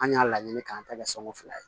An y'a laɲini k'an ta kɛ sɔngɔn fila ye